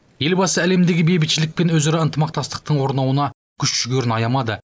елбасы әлемдегі бейбітшілік пен өзара ынтымақтастың орнауына күш жігерін аямады